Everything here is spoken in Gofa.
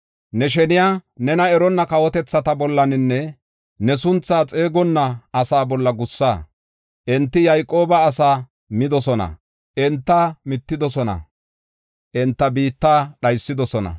Ne sheniya, nena eronna kawotethata bollanne ne sunthaa xeegonna asaa bolla gussa. Enti Yayqooba asaa midosona; enta mittidosona; enta biitta dhaysidosona.